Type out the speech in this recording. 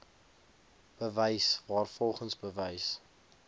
bewys waarvolgens bewys